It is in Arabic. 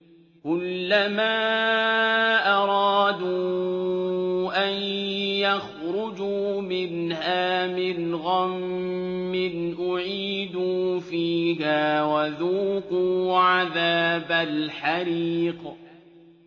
كُلَّمَا أَرَادُوا أَن يَخْرُجُوا مِنْهَا مِنْ غَمٍّ أُعِيدُوا فِيهَا وَذُوقُوا عَذَابَ الْحَرِيقِ